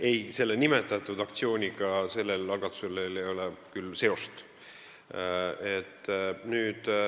Ei, teie nimetatud aktsiooniga ei ole sellel algatusel küll seost.